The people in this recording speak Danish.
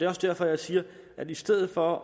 også derfor jeg siger at i stedet for